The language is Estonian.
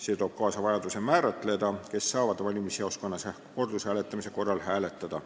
See toob kaasa vajaduse kindlaks määrata, kes saavad valimisjaoskonnas kordushääletamise korral hääletada.